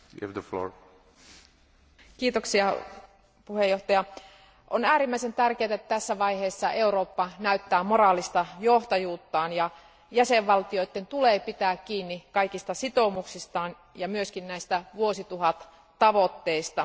Arvoisa puhemies, on äärimmäisen tärkeää, että tässä vaiheessa Eurooppa näyttää moraalista johtajuuttaan, ja jäsenvaltioiden tulee pitää kiinni kaikista sitoumuksistaan ja myös näistä vuosituhattavoitteista.